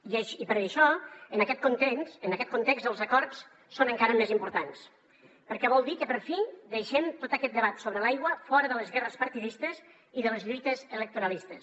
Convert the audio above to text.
i per això en aquest context els acords són encara més importants perquè vol dir que per fi deixem tot aquest debat sobre l’aigua fora de les guerres partidistes i de les lluites electoralistes